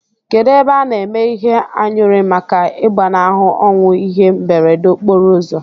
Kedu ebe ana eme ihe anyuri maka igbanahu onwu ihe mberede okporo uzọ?